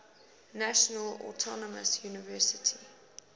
national autonomous university